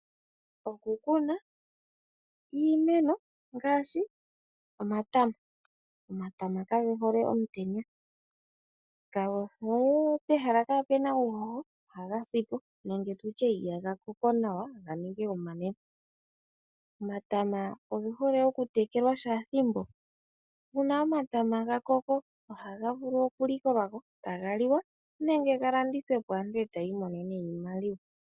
Oku kuna iimeno ngaashi omatama. Omatama ka gehole omutenya ka ge hole pehala kaa pu na uuhoho, go ohaga sipo nenge tutye ihaga koko nawa ga ninge omanene. Omatama oge hole oku tekelwa kehe ethimbo nuuna omatama ga koko ohaga vulu oku likolwa ko taga liwa nenge ga landithwe po, aantu e ta yi imonene iimaliwa.